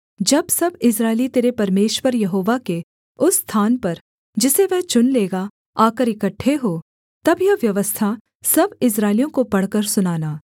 जब सब इस्राएली तेरे परमेश्वर यहोवा के उस स्थान पर जिसे वह चुन लेगा आकर इकट्ठे हों तब यह व्यवस्था सब इस्राएलियों को पढ़कर सुनाना